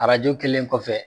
Arajɔ kelen kɔfɛ